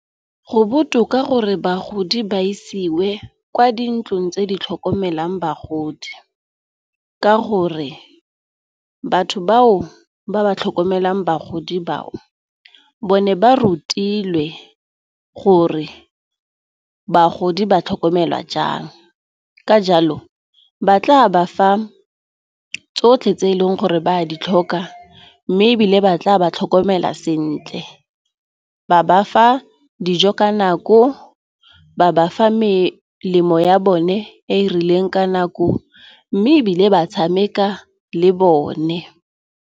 Go botoka gore bagodi ba isiwe kwa dintlong tse di tlhokomelang bagodi, ka gore batho bao ba ba tlhokomelang bagodi bao bone ba rutilwe gore bagodi ba tlhokomelwa jang. Ka jalo, ba tla ba fa tsotlhe tse eleng gore ba a ditlhokwa mme ebile ba tla ba tlhokomela sentle, ba bafa dijo ka nako, ba bafa melemo ya bone e e rileng ka nako, mme ebile ba tshameka le bone.